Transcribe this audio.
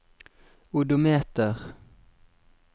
odometer